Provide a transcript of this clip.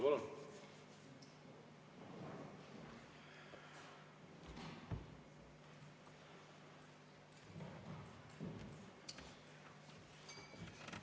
Palun!